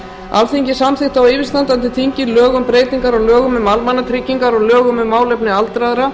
alþingi samþykkti á yfirstandandi þingi lög um breytingu á lögum um almannatryggingar og lögum um málefni aldraðra